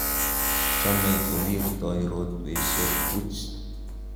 chomei kowirtoi rotwesiek puch